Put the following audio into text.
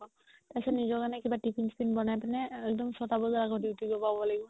তাৰ পিছত নিজৰ কাৰণে tiffin চিফিন বনাই পিনে একদম চয়তা বাজাৰ আগত duty গৈ পাব লাগিব